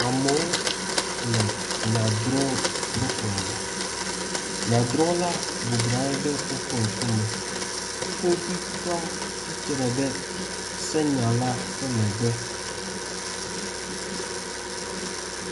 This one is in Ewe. Amewo le nyadrɔ̃ ƒe xɔme. Nyadrɔ̃la bɔblɔ nɔ anyi ɖe woƒe ŋkume. Kpovitɔa tsitre ɖe senyala ƒe megbe